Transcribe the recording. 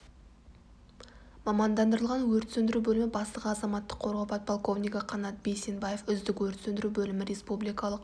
мамандандырылған өрт сөндіру бөлімі бастығы азаматтық қорғау подполковнигі қанат бейсенбаев үздік өрт сөндіру бөлімі республикалық